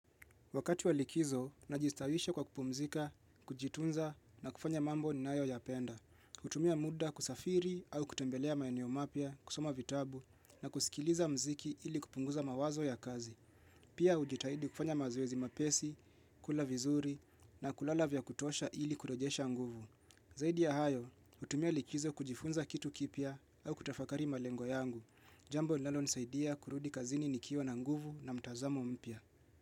Wakati walikizo, najistawisha kwa kupumzika, kujitunza na kufanya mambo ni nayo ya penda. Hutumia muda kusafiri au kutembelea maenio mapya, kusoma vitabu na kusikiliza mziki ili kupunguza mawazo ya kazi. Pia ujitahidi kufanya mazoezi mapesi, kula vizuri na kulalavya kutosha ili kurejesha nguvu. Zaidi ya hayo, hutumia likizo kujifunza kitu kipia au kutafakari malengo yangu. Jambo linalo ni saidia kurudi kazini nikiwa na nguvu na mtazamo mpia.